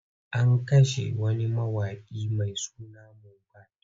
An kashe wani mawaƙi mai suna Mobad.